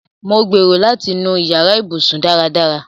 Mo gbérò̀ láti nú ìyàrà ìbùṣún. dáràdárà.